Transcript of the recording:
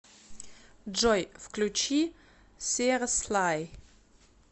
джой включи сир слай